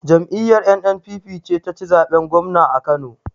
Jam'iyar NNPP ce ta ci zaɓen gwamna a Kano.